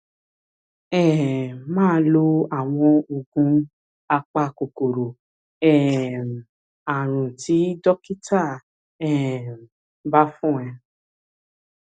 um máa lo àwọn oògùn apakòkòrò um ààrùn tí dókítà um bá fún ẹ